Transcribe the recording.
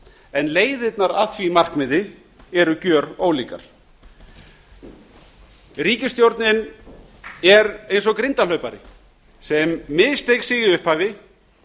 en leiðirnar að því markmiði eru gjörólíkar ríkisstjórnin er eins og grindahlaupari sem missteig sig í upphafi